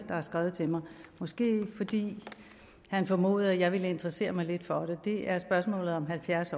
har skrevet til mig måske fordi han formodede at jeg ville interessere mig lidt for det det er spørgsmålet om halvfjerds